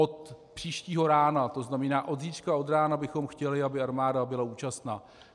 Od příštího rána, to znamená od zítřka od rána, bychom chtěli, aby armáda byla účastna.